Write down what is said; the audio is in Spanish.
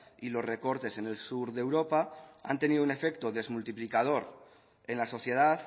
y los recortes en el sur de europa han tenido un efecto desmultiplicador en la sociedad